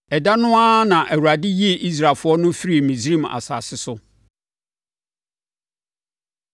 Ɛda no ara na Awurade yii Israelfoɔ no firii Misraim asase so.